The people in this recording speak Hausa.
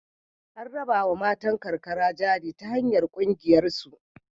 An rabawa matan karkara jari ta hanyar ƙungiyarsu.